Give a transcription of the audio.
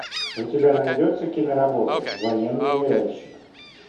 у тебя найдется киноработа военный ныряльщик